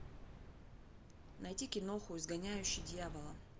найти киноху изгоняющий дьявола